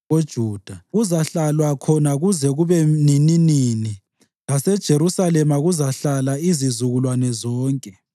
KoJuda kuzahlalwa khona kuze kube nininini laseJerusalema kuzahlala izizukulwane zonke.